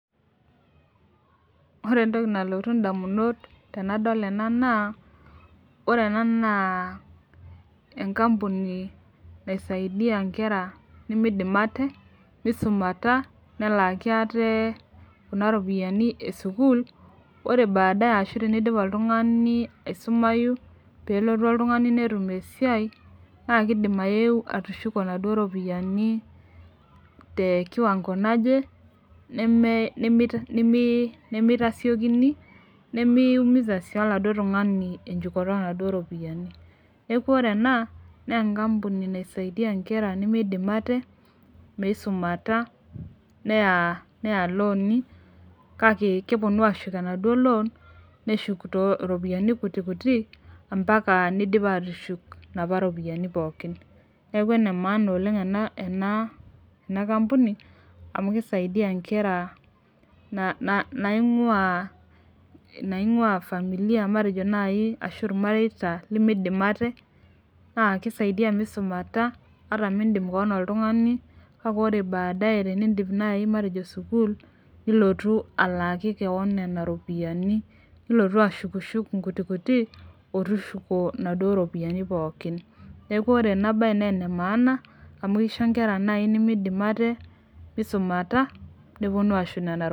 ore entoki nalotu indamunot ainei tenadol ena na ore ena na enkampuni, nasaidia enkera nemidim ate misumita nelaki ate kuna ropiani esukul ore badae, ashu tenidipoltungani aisumayu, pelotu oltungani netum esiai na kindim ayeu atushuko inaduo ropiani tekiwango naje, nemi nemitasiokini nemeumiza oladuo tungani enchukoto onaduo ropiani niaku ore ena na enkampuni naisaidia nkera nemeidim ate meisumata neya loani kake keponu ashuk enaduo loan, neshuk iropiani kuti kuti empaka neidip atushuk inapa ropiani pooki niaku ene maana ena kampuni amu kisaidia nkera naingua familia matejo naji ashu ilmareita limidim ate na kisaidia misumata, ata mindim kewan oltungani kake ore badae tenidip naaji matejo naji sukul. nilotu alaaki kewan nena iropiani, nilotu ashuk matejo inkuti kuti, otushuko inaduo ropiani pooki, niaku ore ena bae na ene maana, amu kisho inkera naji matejo nemeidim ate misumata neponu ashuk nena ropiani.